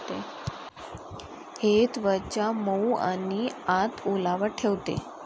हे त्वचा मऊ आणि आत ओलावा ठेवते.